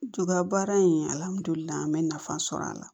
baara in alihamudulila n bɛ nafa sɔrɔ a la